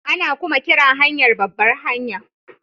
Ana kuma kiran hanyar babbar hanya